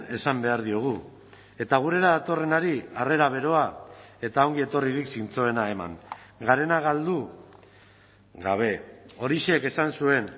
esan behar diogu eta gurera datorrenari harrera beroa eta ongietorririk zintzoena eman garena galdu gabe orixek esan zuen